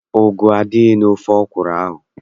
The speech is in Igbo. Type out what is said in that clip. Ugu adịghị n'ofe ọkwụrụ ahụ.